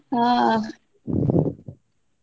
ಹಾ.